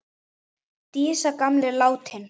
Dísa gamla er látin.